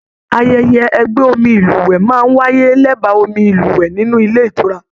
Ayẹyẹ ẹgbẹ omi ilúwẹ máa n wáyé l'ẹba omi ilúwẹ nínú ilé ìtura.